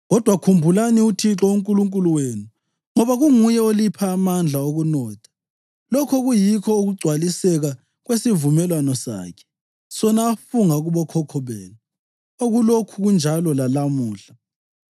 Kodwa khumbulani uThixo uNkulunkulu wenu ngoba kunguye olipha amandla okunotha, lokho kuyikho ukugcwaliseka kwesivumelwano sakhe, sona afunga kubokhokho benu, okulokhu kunjalo lalamuhla.